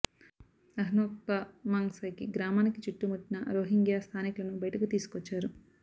అహ్నౌక్భా మంగ్ సైకి గ్రామాని చుట్టుముట్టిన రోహింగ్యా స్థానికులను బయటకు తీసుకొచ్చారు